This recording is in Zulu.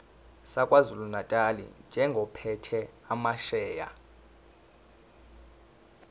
sakwazulunatali njengophethe amasheya